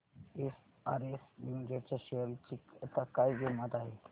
SRS limited च्या share ची आता काय किंमत आहे